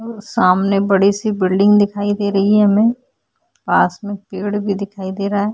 सामने बड़ी सी बिल्डिंग दिखाई दे रही है हमें पास में पेड़ भी दिखाई देरा है।